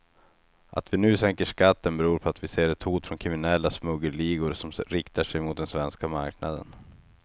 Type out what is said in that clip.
Att vi nu sänker skatten beror på att vi ser ett hot från kriminella smuggelligor som riktar sig mot den svenska marknaden.